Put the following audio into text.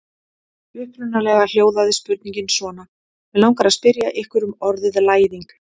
Upprunalega hljóðaði spurningin svona: Mig langar að spyrja ykkur um orðið læðing.